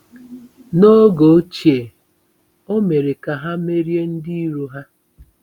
N’oge ochie, o mere ka ha merie ndị iro ha.